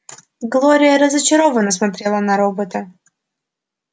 глория разочарованно смотрела на робота